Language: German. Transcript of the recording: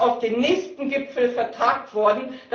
Das ist auf den nächsten Gipfel vertagt worden.